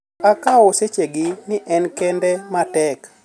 Ok akaw seche gi ni en kinde matek.